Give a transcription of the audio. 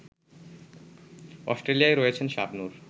Australia রয়েছেন শাবনূর